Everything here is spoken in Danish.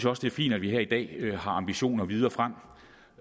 også det er fint at vi her i dag har ambitioner videre frem